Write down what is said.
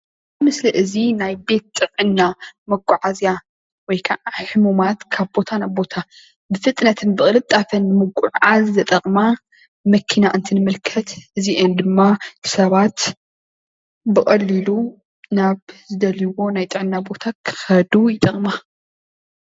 እዚ ምስል እዚ ናይ ቤት ጥዕና መጋዓዝያ ወይ ከዓ ሕሙማት ካብ ቦታ ናብ ቦታ ብፍትነትን ብቅልጣፈን ንምጉዕዓዝ ዝጠቅማ መኪና እንትንምልከት እዚአን ድማ ሰባት ብቀሊሉ ናብ ዝደልይዎ ናይ ጥዕና ቦታ ክከዱ ይጠቅማ፡፡